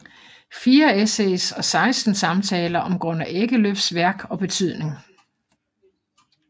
Fire essays og seksten samtaler om Gunnar Ekelöfs værk og betydning